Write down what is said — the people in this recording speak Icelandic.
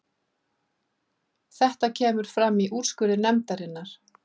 Þetta kemur fram í úrskurði nefndarinnar